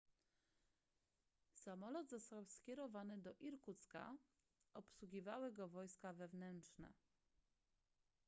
samolot został skierowany do irkucka obsługiwały go wojska wewnętrzne